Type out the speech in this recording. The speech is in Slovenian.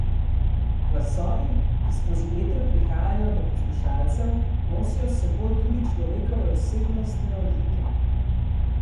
Glasovi, ki skozi eter prihajajo do poslušalcev, nosijo s seboj tudi človekove osebnostne odlike.